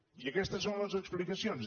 i aquestes són les explicacions